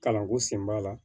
Kalanko sen b'a la